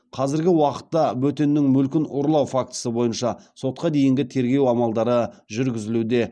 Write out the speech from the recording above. қазіргі уақытта бөтеннің мүлкін ұрлау фактісі бойынша сотқа дейінгі тергеу амалдары жүргізілуде